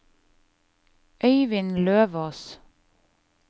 Øyvind Løvås